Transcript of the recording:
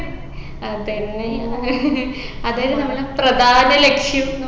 അതെന്നെ അതല്ലെ നമ്മളെ പ്രധാന ലക്ഷ്യം